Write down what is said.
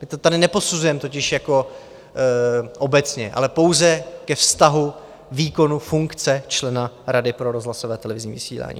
My to tady neposuzujeme totiž jako obecně, ale pouze ke vztahu výkonu funkce člena Rady pro rozhlasové a televizní vysílání.